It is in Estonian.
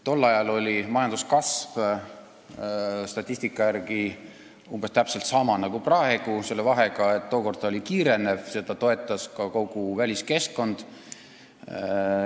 Tol ajal oli majanduskasv statistika järgi umbes niisama suur nagu praegu, selle vahega, et tookord oli ta kiirenev, seda toetas ka kogu väliskeskkond.